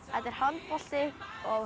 er handbolti